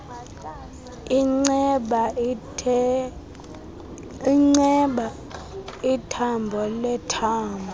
inceba ithambo lethambo